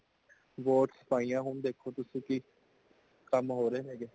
vote ਪਾਇਆ ,ਹੁਣ ਦੇਖੋ ਤੁਸੀਂ ਕਿ ਕਮ ਹੋਰਹੇ ਹੇਗੇ